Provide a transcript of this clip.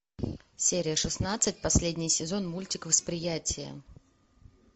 серия шестнадцать последний сезон мультик восприятие